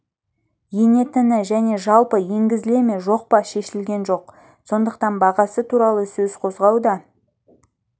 енетіні және жалпы енгізіле ме жоқ па шешілген жоқ сондықтан бағасы туралы сөз қозғау да